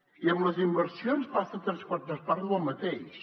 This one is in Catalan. i amb les inversions passa tres quartes parts del mateix